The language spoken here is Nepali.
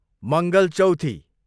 मङ्गलचौथी